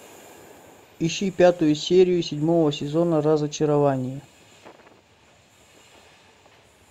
ищи пятую серию седьмого сезона разочарование